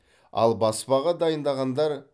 ал баспаға дайындағандар